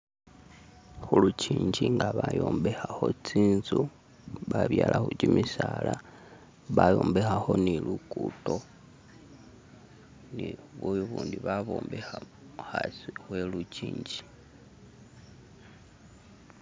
Khulujinji nga bayombekhakho tsinzu babyalakho kyimisaala bayombekho ni lukuto ni buyu bundi bayombekha hasi we lujinji